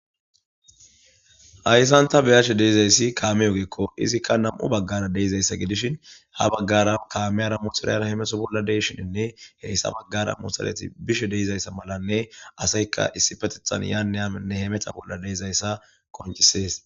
Ayssanta beyashe deizayssi kaame yogeekko izikka nam'u baggara deizayssa gidishin ha baggara kaameyara mohiriyara hemeto bolla deshininne heyssa baggara mosaleti bishe deizayssa malanne asayka issi petethan yaane ainne he meta bolla deizayssa qoncisees.